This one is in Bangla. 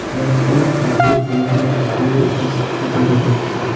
জলাশয়ের পাশে বড় বড় পাথরের উপস্থিতি দেখা যাচ্ছে।